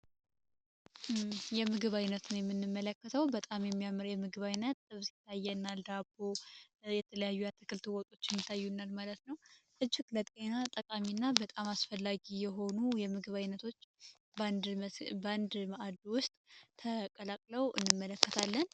የምግብ ዓይነት ነው የምንመለከተው በጣም የሚያምር የምግብ ዓይነት ዳቦ የተለያዩ ለጤና ጠቃሚና አስፈላጊ የሆኑ የምግብ ዓይነቶች ባንድ ውስጥ ተቀላቅለው እንመለከታለን